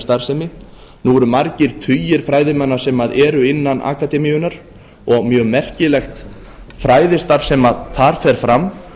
starfsemi nú eru margir tugir fræðimanna sem eru innan akademíunnar og mjög merkilegt fræðastarf sem þar fer fram